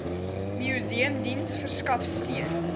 museumdiens verskaf steun